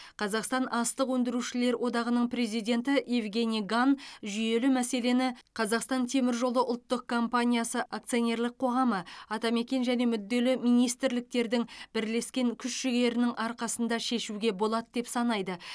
қазақстан астық өндеушілер одағының президенті евгений ган жүйелі мәселені қазақстан темір жолы ұлттық компаниясы акционерлік қоғамы атамекен және мүдделі министрліктердің бірлескен күш жігерінің арқасында шешуге болады деп санайды